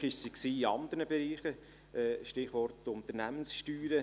Erfolgreich war sie in anderen Bereichen – Stichwort Unternehmenssteuern: